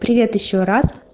привет ещё раз